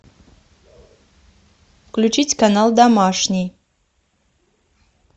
включить канал домашний